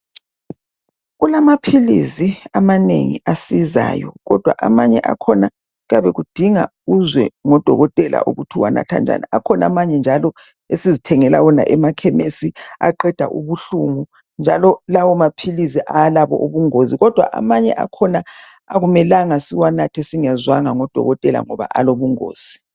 Kulamaphilizi amanengi asizayo. Kodwa amanye akhona kuyabe kudinga uzwe ngodokotela ukuthi uwanatha njani. Amanye njalo sihamba siyozithengela ekhemesi aqeda ubuhlungu njalo lawo maphilizi awalabo ubungozi. Kodwa amanye akhona akumelanga siwanathe singezwanga ngodokotela ngoba alobungozi.